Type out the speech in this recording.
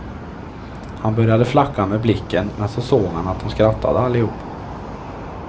Han började flacka med blicken, men så såg han att de skrattade allihop.